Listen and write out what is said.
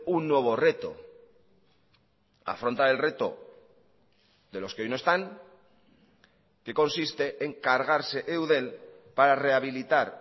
un nuevo reto afronta el reto de los que hoy no están que consiste en cargarse eudel para rehabilitar